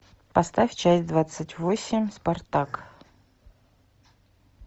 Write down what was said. поставь часть двадцать восемь спартак